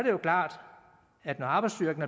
jo klart at når arbejdsstyrken